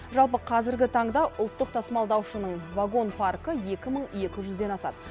жалпы қазіргі таңда ұлттық тасымалдаушының вагон паркі екі мың екі жүзден асады